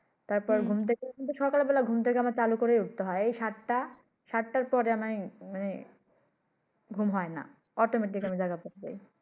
তার পর ঘুম থেকে সকাল বেলা ঘুম থেকে চালু করে উঠতে হয় সাত টা সাত টা পরে আমার মানে ঘুম হয় না Automatic আমি জায়গা পেয়ে যাই।